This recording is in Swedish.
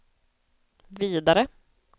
vidare